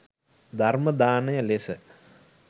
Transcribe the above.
ධර්ම දානය ලෙස